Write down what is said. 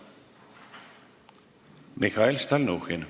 Mihhail Stalnuhhin.